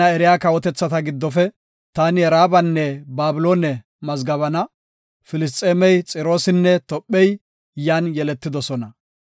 “Tana eriya kawotethata giddofe, taani Raabanne Babiloone mazgabana. Filisxeemey, Xiroosinne Tophey, yan yeletidosona.”